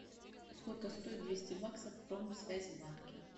сколько стоит двести баксов в промсвязьбанке